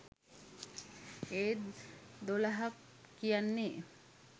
ඒත් දොළහක් කියන්නෙ